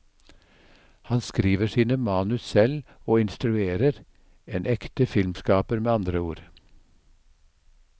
Han skriver sine manus selv og instruerer, en ekte filmskaper, med andre ord.